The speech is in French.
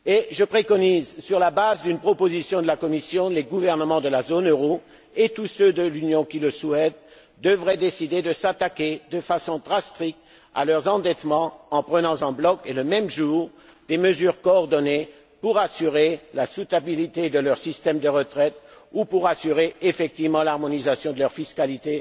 Je préconise que, sur la base d'une proposition de la Commission, les gouvernements de la zone euro et tous ceux de l'Union qui le souhaitent, décident de s'attaquer de façon draconienne à leurs endettements, en prenant en bloc, et le même jour, des mesures coordonnées pour assurer la viabilité de leur système de retraite ou pour assurer effectivement l'harmonisation de leur fiscalité,